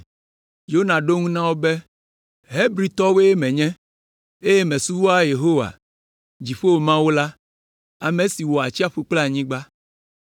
Yona ɖo eŋu na wo be, “Hebritɔwoe menye, eye mesubɔa Yehowa, Dziƒo Mawu la, ame si wɔ atsiaƒu kple anyigba.”